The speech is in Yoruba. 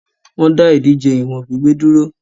Wọ́n dá ìdíje ìwọ̀n gbígbé dúró.